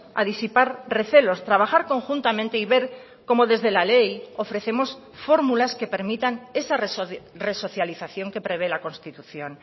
a disipar recelos trabajar conjuntamente y ver como desde la ley ofrecemos fórmulas que permitan esa resocialización que prevé la constitución